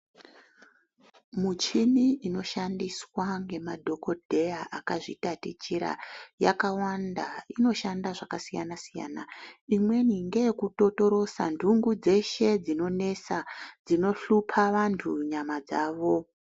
Michini inoshondiswa ngemadhokodheya akazvitatichira yakawanda inoshanda zvakasiyanasiyana imweni ngeye kutotolosa nhungu dzeshe dzinohlupa ,dzinonesa vantu nyama dzavo.